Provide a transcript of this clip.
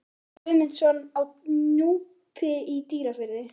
Ásvaldur Guðmundsson á Núpi í Dýrafirði